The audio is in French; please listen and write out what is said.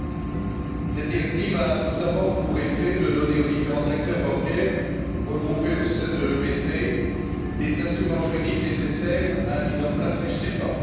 2007. Cette directive a notamment pour effet de donner aux différents acteurs bancaires, regroupés au sein de l'EPC, les instruments juridiques nécessaires à la mise en place du SEPA.